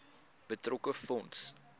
betrokke fonds